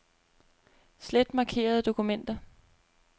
Slet markerede dokumenter.